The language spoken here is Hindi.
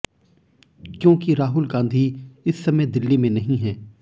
क्योंकि राहुल गांधी इस समय दिल्ली में नहीं हैं